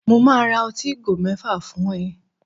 Mo máa ra ọtí ìgò mẹ́fà fún ẹ